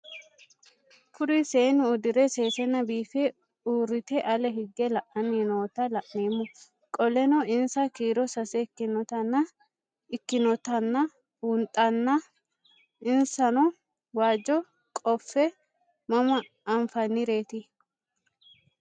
Kuri seenu udire sesena biife urite ale hige la'ani noota la'nemo qoleno insa kiiro sase ikinotana bunxana insano waajo qofe mama anfaniret?